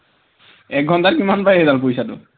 এঘন্টাত কিমান পায় এইডাল পইচাটো